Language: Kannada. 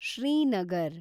ಶ್ರೀನಗರ